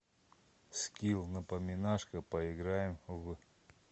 скилл напоминашка поиграем в